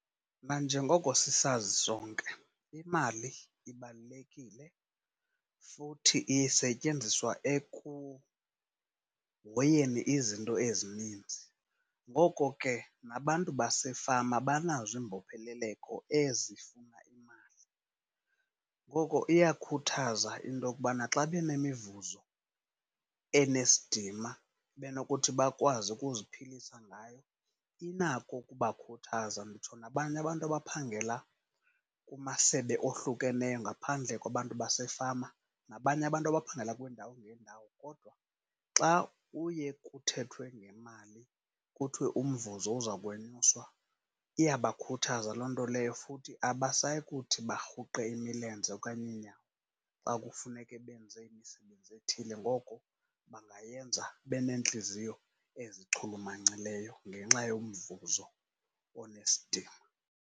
Nanjengoko sisazi sonke imali ibalulekile futhi isetyenziswa ekuhoyeni izinto ezininzi, ngoko ke nabantu basefama banazo iimbopheleleko ezifuna imali. Ngoko iyakhuthaza into okubana xa benemivuzo enesidima, benokuthi bakwazi ukuziphilisa ngayo, inako ukubakhuthaza. Nditsho nabanye abantu abaphangela kumasebe ohlukeneyo ngaphandle kwabantu basefama, nabanye abantu abaphangela kwiindawo ngeendawo, kodwa xa kuye kuthethwe ngemali kuthiwe umvuzo uza kwenyuswa iyabakhuthaza loo nto leyo, futhi abasayi kuthi barhuqe imilenze okanye iinyawo xa kufuneke benze imisebenzi ethile. Ngoko bangayenza beneentliziyo ezichulumancileyo ngenxa yomvuzo onesidima.